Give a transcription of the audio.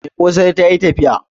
Mai kosai ta yi tafiya